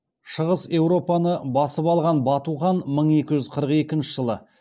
шығыс еуропаны басып алған бату хан мың екі жүз қырық екінші жылы